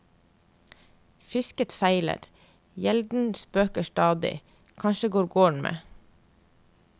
Fisket feiler, gjelden spøker stadig, kanskje går gården med.